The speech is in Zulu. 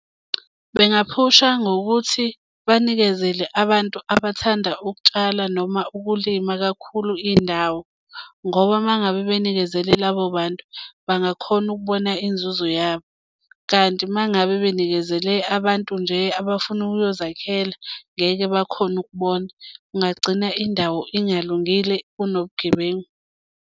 Bengaphusha ngokuthi banikezele abantu abathanda ukutshala noma ukulima kakhulu indawo ngoba uma ngabe benikezele labo bantu bangakhona ukubona inzuzo yabo. Kanti uma ngabe benikezele abantu nje abafuna ukuyozakhela ngeke bakhone ukubona. Kungagcina indawo ingalungile kunobugebengu.